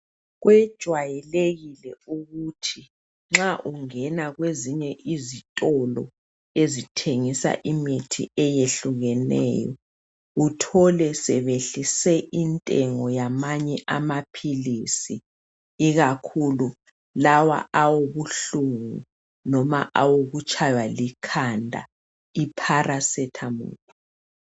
Kwejwayelekile ukuthi nxa ungena kwezinye izitolo ezithengisa imithi eyehlukeneyo uthole sebehlise intengo yamanye amaphilisi ikakhulu lawa awobuhlungu noma awokutshaywa likhanda ipharasethamolu.